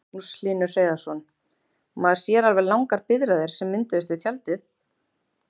Magnús Hlynur Hreiðarsson: Maður sér alveg langar biðraðir sem mynduðust við tjaldið?